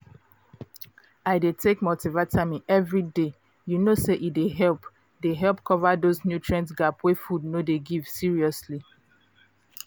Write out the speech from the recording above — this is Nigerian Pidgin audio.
i dey take multivitamin every day you know say e dey help dey help cover those nutrient gap wey food no dey give seriously